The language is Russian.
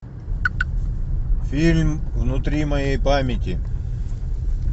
фильм внутри моей памяти